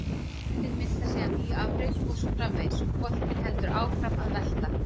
Afritin mynda síðan ný afrit og svo framvegis: Boltinn heldur áfram að velta.